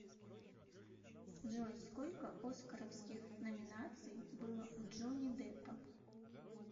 джой сколько оскаровских номинаций было у джонни деппа